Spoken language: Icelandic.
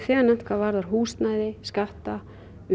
þegar nefnt varðandi húsnæði skatta